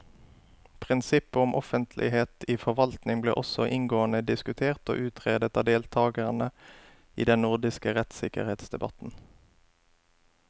Prinsippet om offentlighet i forvaltningen ble også inngående diskutert og utredet av deltakerne i den nordiske rettssikkerhetsdebatten.